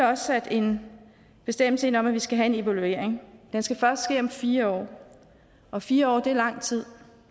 også sat en bestemmelse ind om at vi skal have en evaluering den skal først ske om fire år og fire år er lang tid